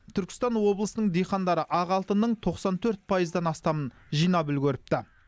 түркістан облысының диқандары ақ алтынның тоқсан төрт пайыздан астамын жинап үлгеріпті